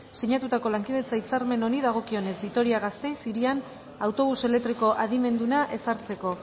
sinatutako lankidetza hitzarmen honi dagokionez vitoria gasteiz hirian autobus elektriko adimenduna ezartzeko